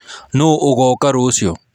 Nũ ũgoka rũciũ?